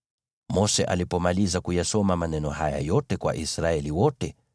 Mose alipomaliza kuyasoma maneno haya yote kwa Israeli wote,